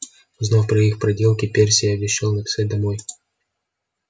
узнав про их проделки перси обещал написать домой